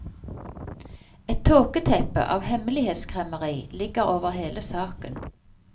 Et tåketeppe av hemmelighetsskremmeri ligger over hele saken.